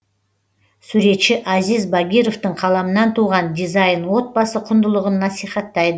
суретші азиз багировтың қаламынан туған дизайн отбасы құндылығын насихаттайды